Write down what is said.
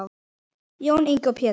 Jón Ingi og Pétur.